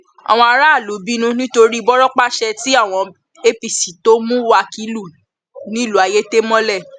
àwọn aráàlú bínú nítorí bọrọpàá ṣe ti àwọn apc tó mú wákìlú nílùú ayétẹ mọlẹ